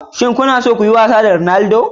Shin kuna son yin wasa da Ronaldo?